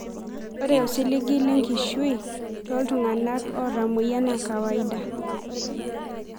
Ore osiligi lenkishui toltungana otamoyia na kawaida.